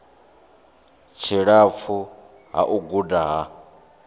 tshilapfu ha u guda ha